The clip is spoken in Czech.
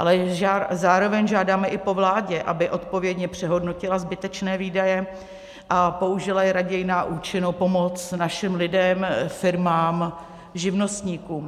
Ale zároveň žádáme i po vládě, aby odpovědně přehodnotila zbytečné výdaje a použila je raději na účinnou pomoc našim lidem, firmám, živnostníkům.